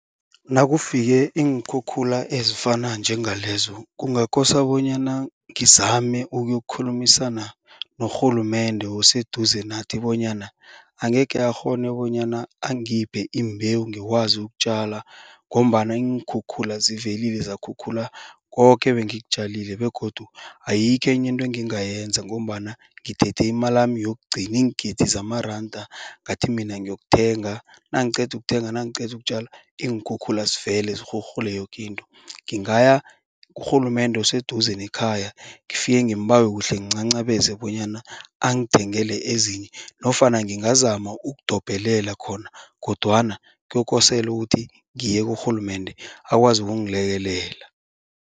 Nakufike iinkhukhula ezifana njengalezo kungakose bonyana ngizame ukuyokukhulumisana norhulumende oseduze nathi bonyana angekhe akghone bonyana angiphe imbewu ngikwazi ukutjala. Ngombana iinkhukhula zivelile zakhukhula koke ebengikutjalile begodu ayikho enye into engingayenza. Ngombana ngithethe imalami yokugcina iingidi zamaranda ngathi mina ngiyokuthenga nangiqeda ukuthenga nangiqeda ukutjala iinkhukhula zivele sirhurhule yoke into. Ngingaya kurhulumende oseduze nekhaya ngifike ngimbawe kuhle ngincancabeze bonyana angithengele ezinye nofana ngingazama ukudobhelela khona. Kodwana kokosele ukuthi ngiye kurhulumende akwazi ukungilekelela.